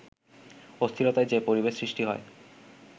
অস্থিরতার যে পরিবেশ সৃষ্টি হয়